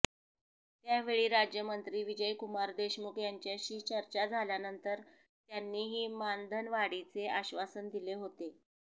त्यावेळी राज्यमंत्री विजयकुमार देशमुख यांच्याशी चर्चा झाल्यानंतर त्यांनीही मानधनवाढीचे आश्वासन दिले होेते